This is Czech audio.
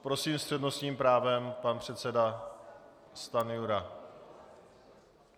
Prosím s přednostním právem pan předseda Stanjura.